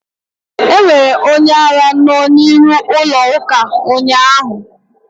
Enwere onye ara no n'iru ụlọ ụka ụnyaahụ